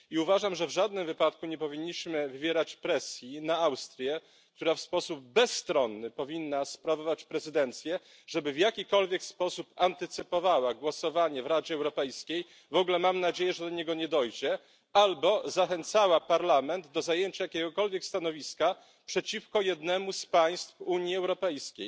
Uważam, że w żadnym wypadku nie powinniśmy wywierać presji na Austrii, która w sposób bezstronny powinna sprawować prezydencję, żeby w jakikolwiek sposób antycypowała głosowanie w Radzie Europejskiej, w ogóle mam nadzieję, że do niego nie dojdzie, albo zachęcała Parlament do zajęcia jakiegokolwiek stanowiska przeciwko jednemu z państw Unii Europejskiej.